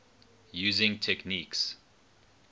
using techniques